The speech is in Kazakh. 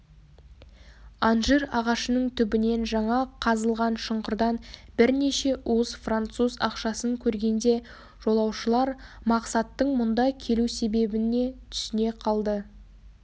анжир ағашының түбінен жаңа қазылған шұңқырдан бірнеше уыс француз ақшасын көргенде жолаушылар мақсаттың мұнда келу себебіне түсіне қалды